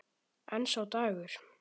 En sá dagur!